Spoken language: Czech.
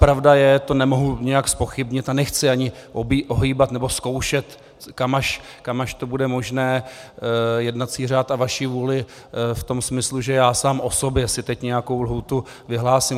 Pravda je - to nemohu nijak zpochybnit a nechci ani ohýbat nebo zkoušet, kam až to bude možné, jednací řád a vaši vůli v tom smyslu, že já sám o sobě si teď nějakou lhůtu vyhlásím.